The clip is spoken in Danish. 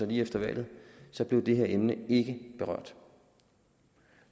lige efter valget blev det her emne berørt